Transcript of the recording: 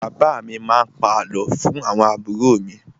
Bàbá mi má a pa àlọ́ fún àwọn àbúrò mi.